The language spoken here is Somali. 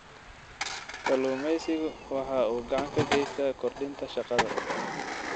Kalluumaysigu waxa uu gacan ka geystaa kordhinta shaqada.